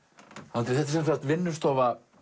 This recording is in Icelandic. Andri þetta er sem sagt vinnustofa